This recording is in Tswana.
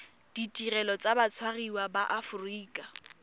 ditirelo tsa batshwariwa ba aforika